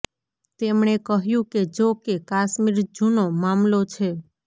તેમણે કહ્યું કે જો કે કાશ્મીર જુનો મામલો છે